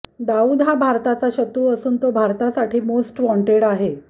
दाऊद हा भारताचा शत्रू असून तो भारतासाठी मोस्ट वॉण्टेड आहे